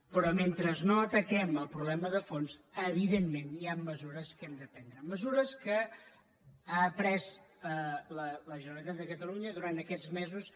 però mentre no ataquem el problema de fons evidentment hi han mesures que hem de prendre mesures que ha pres la generalitat de catalunya durant aquests mesos